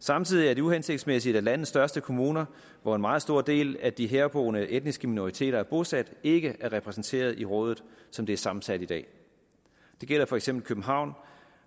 samtidig er det uhensigtsmæssigt at landets største kommuner hvor en meget stor del af de herboende etniske minoriteter er bosat ikke er repræsenteret i rådet som det er sammensat i dag det gælder for eksempel københavn